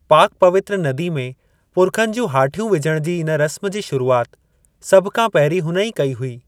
पाक-पवित्र नदी में पुर्खनि जूं हाठियूं विझण जी इन रस्म जी शुरूआति सभु खां पहिरीं हुन ई कई हुई।